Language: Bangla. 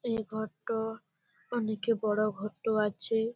এর ঘরটো-ও অনেকই বড়ো ঘরটো আছে।